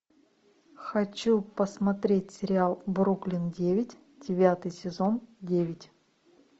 хочу посмотреть сериал бруклин девять девятый сезон девять